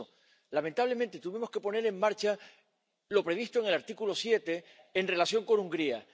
Por eso, lamentablemente, tuvimos que poner en marcha lo previsto en el artículo 7 en relación con Hungría.